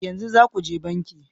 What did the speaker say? Yanzu za ku je banki